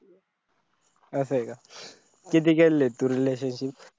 असय का? किती केलेले तू relationship